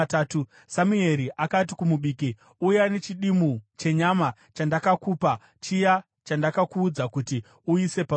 Samueri akati kumubiki, “Uya nechidimbu chenyama chandakakupa, chiya chandakuudza kuti uise parutivi.”